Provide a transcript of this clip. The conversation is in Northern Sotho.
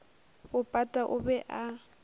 bo pata o be a